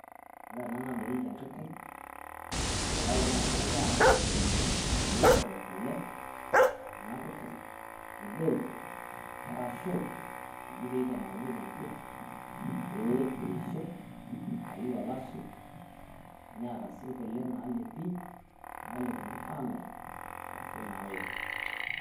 Ore enaa dadolita enkiteng' nabaki naa kegirai aramaat pee eishoru kulee ena nkiteng' e derii orasho eji pee atemakinyeki mpiira pee eishoo aiyiu olashe neeta si kulee naelepi nalepunyi aamir arashu naoki.